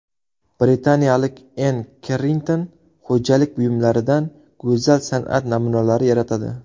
Britaniyalik Enn Kerrington xo‘jalik buyumlaridan go‘zal san’at namunalari yaratadi.